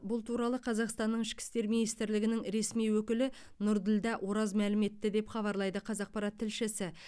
бұл туралы қазақстанның ішкі істер министрлігінің ресми өкілі нұрділдә ораз мәлім етті деп хабарлайды қазақпарат тілшісі